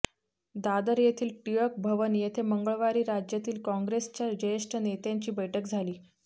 दादर येथील टिळक भवन येथे मंगळवारी राज्यातील काँग्रेसच्या ज्येष्ठ नेत्यांची बैठक झाली